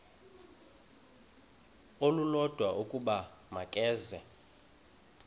olulodwa ukuba makeze